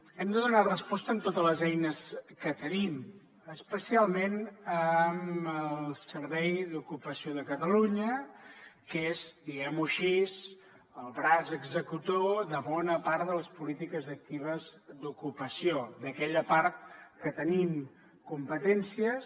hem de donar resposta amb totes les eines que tenim especialment amb el servei d’ocupació de catalunya que és diguem ho així el braç executor de bona part de les polítiques actives d’ocupació d’aquella part que tenim competències